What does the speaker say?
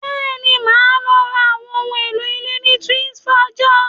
Bẹ́ẹ̀ni, mo máa lọ ra àwọn ohun èlò ilé ní Twinsfaja